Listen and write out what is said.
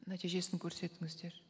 нәтижесін көрсетіңіздер